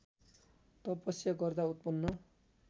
तपस्या गर्दा उत्पन्न